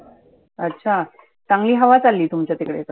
अच्छा चांगली हवा चालली तुमच्या तिकडे तर.